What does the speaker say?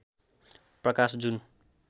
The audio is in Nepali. प्रकाश जुन